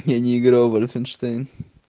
я не играл в вольфенштейн